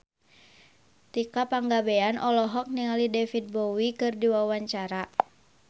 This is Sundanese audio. Tika Pangabean olohok ningali David Bowie keur diwawancara